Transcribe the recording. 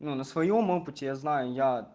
ну на своём опыте я знаю я